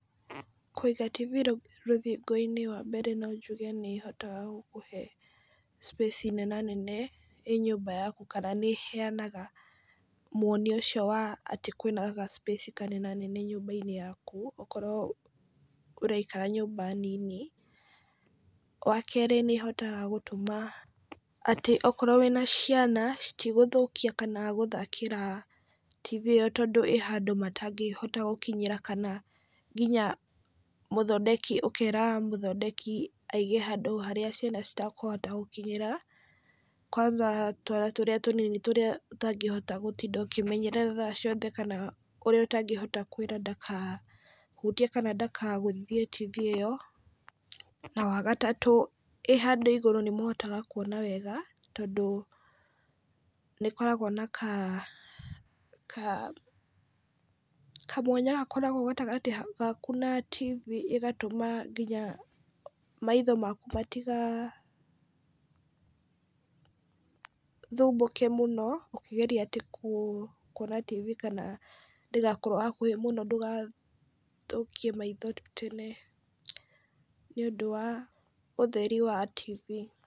Kũiga TV rũthingo~inĩ wambere no njuge nĩ ĩhotaga gũkũhe space nenanene ĩ nyũmba yaku kna nĩ ĩheanaga mwoni ũcio wa atĩ kwĩna ga space kanenanene nyũmba~inĩ yakũ okorwo ũraikara nyũmba nini. Wakerĩ nĩ ĩhotaga gũtũma atĩ okorwo wĩna ciana citigũthũkia kana gũthakĩra TV ĩyo tondũ ĩ handũ matangĩhota gũkinyĩra. Kana nginya ũkera mũthondeki aige handũ harĩa ciana citakũhota gũkinyĩra. kwanza twana tũrĩa tunini tũrĩa utangĩhota gũtinda ũkĩmenyerera thaa ciothe kana ũrĩa ũtangĩhota kwĩra ndaka hutie kana ndakagũthithie TV ĩyo. Na watatũ ĩ handũ igũrũ nĩ mũhotaga kuona wega tondũ nĩ ĩkoragwo na kamwanya gakoragwo gatagatĩ gaku na TV ĩgatuma nginya maitho maku matiga thumbũke muno ũkĩgeria atĩ kuona TV kana ndĩgakorwo hakuhĩ muno ndũgathũkie maitho tene nĩũndũ wa ũtheri wa TV.